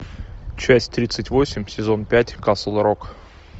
часть тридцать восемь сезон пять касл рок